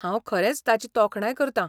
हांव खरेंच ताची तोखणाय करतां.